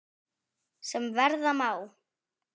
sem verða má.